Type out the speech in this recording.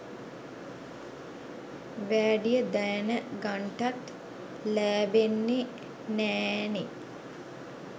වෑඩිය දෑනගන්ටත් ලෑබෙන්නෙ නෑ නේ.